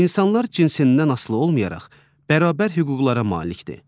İnsanlar cinsindən asılı olmayaraq bərabər hüquqlara malikdir.